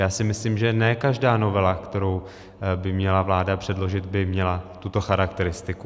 Já si myslím, že ne každá novela, kterou by měla vláda předložit, by měla tuto charakteristiku.